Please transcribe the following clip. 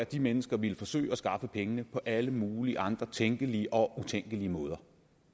de mennesker ville forsøge at skaffe pengene på alle mulige andre tænkelige og utænkelige måder